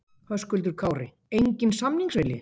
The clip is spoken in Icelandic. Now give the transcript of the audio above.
Höskuldur Kári: Enginn samningsvilji?